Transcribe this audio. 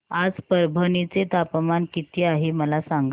आज परभणी चे तापमान किती आहे मला सांगा